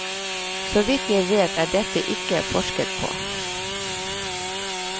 Såvidt jeg vet er dette ikke forsket på.